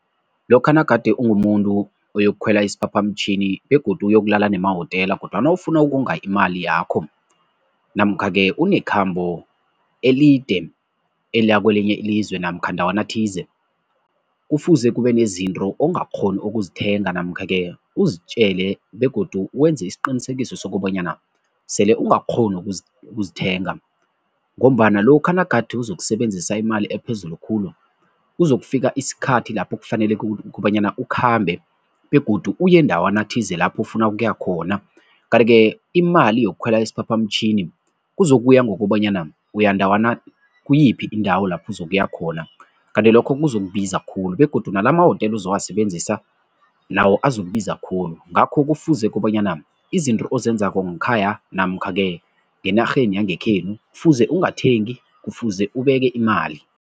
Lokha nagade ungumuntu oyokukhwela isiphaphamtjhini begodu uyokulala emahotela kodwana ufuna ukonga imali yakho namkha-ke unekhambo elide, eliya kwelinye ilizwe namkha ndawana thize, kufuze kube nezinto ongakghoni ukuzithenga namkha-ke uzitjele begodu wenze isiqinisekiso sokobonyana sele ungakghoni ukuzithenga ngombana lokha nagade uzokusebenzisa imali ephezulu khulu, kuzokufika isikhathi lapho kufanele kukobanyana ukhambe begodu uyendawana thize lapho ufuna ukuya khona kanti-ke imali yokukhwela isiphaphamtjhini, kuzokuya ngokobanyana uyandawana kuyiphi indawo lapho uzokuya khona kanti lokho kuzokubiza khulu begodu nala amahotela ozowasebenzisa nawo abazokubiza khulu ngakho kufuze kobanyana izinto ozenzako ngekhaya namkha-ke ngenarheni yangekhenu, kufuze ungathengi, kufuze ubeke imali.